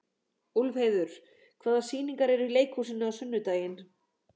Úlfheiður, hvaða sýningar eru í leikhúsinu á sunnudaginn?